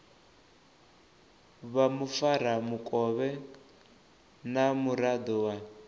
vha mufaramukovhe na muraḓo wa